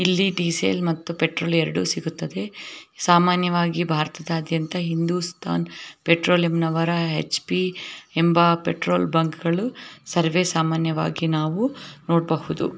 ಇಲ್ಲಿ ಡೀಸೆಲ್ ಮತ್ತು ಪೆಟ್ರೋಲ್ ಎರಡು ಸಿಗುತ್ತದೆ ಸಾಮಾನ್ಯವಾಗಿ ಬಾರತಾದ್ಯಂತ ಹಿಂದುಸ್ತಾನ ಪೆಟ್ರೋಲಿಯಂನವರ ಹೆಚ_ಪಿ ಎಂಬ ಪೆಟ್ರೋಲ್ ಬಂಕ್ ಗಳು ಸರ್ವೆ ಸಾಮಾನ್ಯವಾಗಿ ನಾವು ನೋಡಬಹುದು.